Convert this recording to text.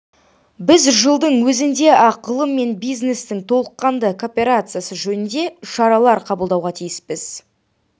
біз жылдың өзінде-ақ ғылым мен бизнестің толыққанды кооперациясы жөнінде шаралар қабылдауға тиіспіз